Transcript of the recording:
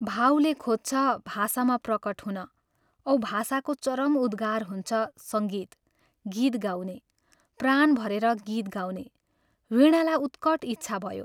भावले खोज्छ भाषामा प्रकट हुन औ भाषाको चरम उद्गार हुन्छ सङ्गीत गीत गाउने, प्राण भरेर गीत गाउने, वीणालाई उत्कट इच्छा भयो।